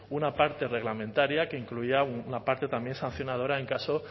una parte reglamentaria que incluía una parte también sancionadora en caso